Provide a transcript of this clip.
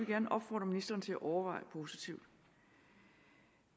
gerne opfordre ministeren til at overveje positivt